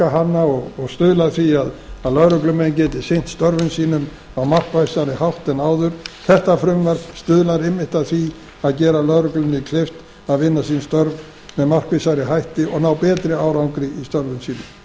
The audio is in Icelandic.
hana og stuðla að því að lögreglumenn geti sinnt störfum sínum á markvissari hátt en áður þetta frumvarp stuðlar einmitt að því að gera lögreglunni kleift að vinna sín störf með markvissari hætti og ná betri árangri í störfum sínum